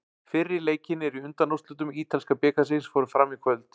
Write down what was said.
Fyrri leikirnir í undanúrslitum ítalska bikarsins fóru fram í kvöld.